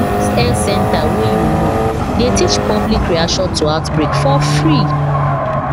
most health center wey you know dey teach public reaction to outbreak for free